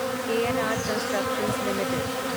के N R constructions limited